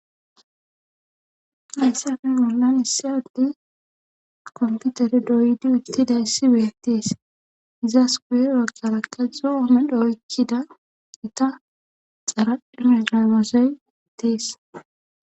hayssafe bollan issa adde komputere doydi uttida issi beetees izas kuye wagara kazdzu oomedhoykkida ita xaradhihegamoosey ittees